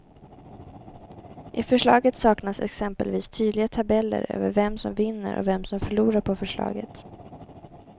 I förslaget saknas exempelvis tydliga tabeller över vem som vinner och vem som förlorar på förslaget.